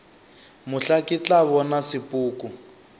mohla ke tla bona sepoko